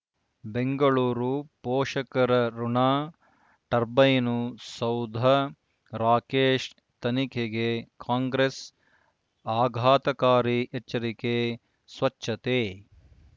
ಬೆಂಗಳೂರು ಪೋಷಕರಋಣ ಟರ್ಬೈನು ಸೌಧ ರಾಕೇಶ್ ತನಿಖೆಗೆ ಕಾಂಗ್ರೆಸ್ ಆಘಾತಕಾರಿ ಎಚ್ಚರಿಕೆ ಸ್ವಚ್ಛತೆ